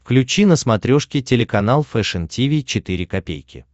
включи на смотрешке телеканал фэшн ти ви четыре ка